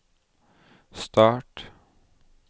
start